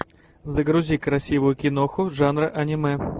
загрузи красивую киноху жанра аниме